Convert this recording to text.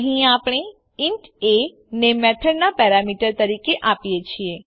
અહીં આપણે int a ને મેથડનાં પેરામીટર તરીકે આપીએ છીએ